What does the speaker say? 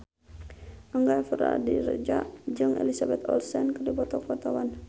Angga Puradiredja jeung Elizabeth Olsen keur dipoto ku wartawan